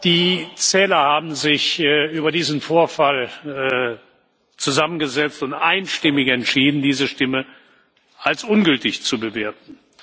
Die Zähler haben sich über diesen Vorfall zusammengesetzt und einstimmig entschieden, diese Stimme als ungültig zu bewerten.